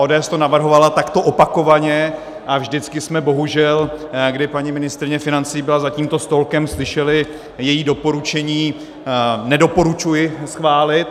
ODS to navrhovala takto opakovaně a vždycky jsme bohužel, kdy paní ministryně financí byla za tímto stolkem, slyšeli její doporučení: nedoporučuji schválit.